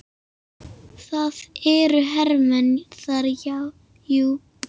Það eru hermenn þar, jú.